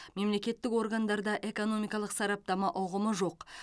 мемлекеттік органдарда экономикалық сараптама ұғымы жоқ